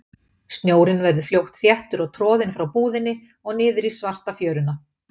Snjórinn verður fljótt þéttur og troðinn frá búðinni og niður í svarta fjöruna.